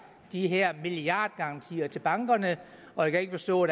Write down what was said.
de her milliardgarantier til bankerne og jeg kan ikke forstå